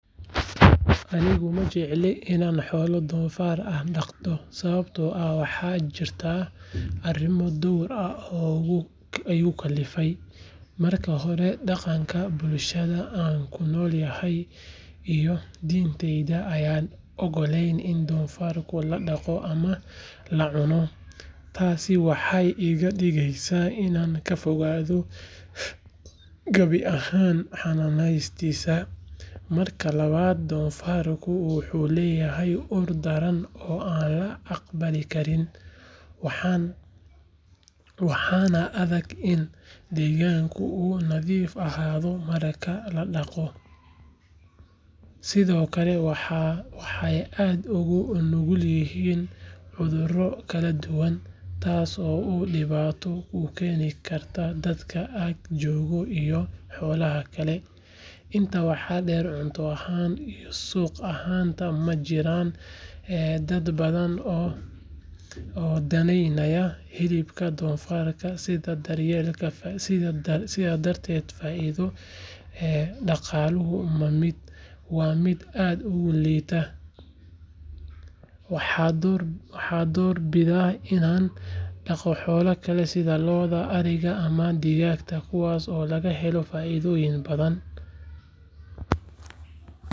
Anigu ma jecli inaan xoolo doofaar ah dhaqdo sababtoo ah waxaa jirta arrimo dhowr ah oo igu kallifay. Marka hore dhaqanka bulshada aan ku noolahay iyo diinteyda ayaan ogolayn in doofaarka la dhaqo ama la cuno, taasina waxay iga dhigeysaa inaan ka fogaado gabi ahaanba xanaaneyntiisa. Marka labaad doofaarku wuxuu leeyahay ur daran oo aan la aqbali karin, waxaana adag in deegaanka uu nadiif ahaado marka la dhaqo. Sidoo kale waxay aad ugu nugul yihiin cudurro kala duwan, taas oo dhibaato ku keeni karta dadka ag jooga iyo xoolaha kale. Intaa waxaa dheer cunto ahaan iyo suuq ahaanba ma jiraan dad badan oo danaynaya hilibka doofaarka sidaas darteed faa’iidada dhaqaaluhu waa mid aad u xadidan. Waxaan door bidaa inaan dhaqo xoolo kale sida lo’da, ariga ama digaaga kuwaas oo laga helo faa’iido badan.